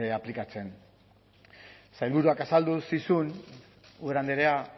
aplikatzen sailburuak azaldu zizun ubera andrea